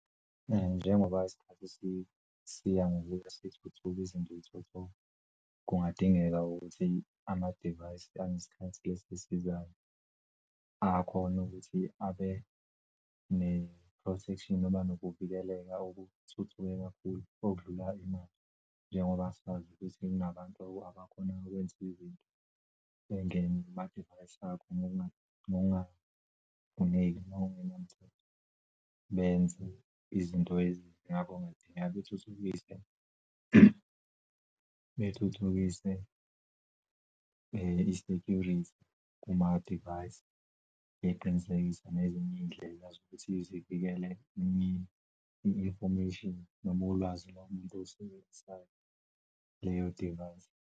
Njengoba isikhathi ngokuthuthuki izinto, kungadingeka ukuthi amadivayisi anesikhathi lesi esizayo ayakhona ukuthi abe ne-protection noma nokuvikeleka okuthuthuke kakhulu okudlula imali, njengoba sazi ukuthi kunabantu abakhoni ukwenza izinto bengene kumadivayisi akho noma noma ngokungafuneki ngokungenamthetho benze izinto eziningi. Ngakho kungadingeka bethuthukise bethuthukise i-security kuma divayisi beqinisekise nezinye iy'ndlela zokuthi zivikele i-information nomulwazi lalomuntu osebenzisa leyo divayisi.